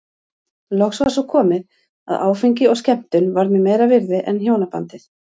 Loks var svo komið að áfengi og skemmtun varð mér meira virði en hjónabandið.